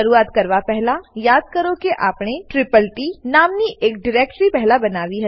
શરૂઆત કરવા પહેલા યાદ કરો કે આપણે તત્ત નામની એક ડીરેક્ટરી પહેલા બનાવી હતી